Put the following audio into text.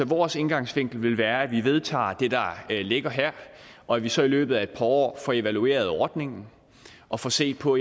vores indgangsvinkel vil være at vi vedtager det der ligger her og at vi så i løbet af et par år får evalueret ordningen og får set på